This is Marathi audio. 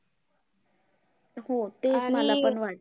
हो ते एक मलापण वाटतंय.